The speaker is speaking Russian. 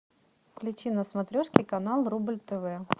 включи на смотрешке канал рубль тв